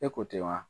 E ko tɛ wa